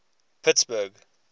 pittsburgh